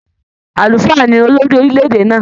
Àlùfáà ni olori orílẹ̀-èdè náà.